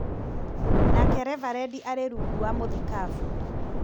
Nake Reverendi arĩ rungu wa mũthikabu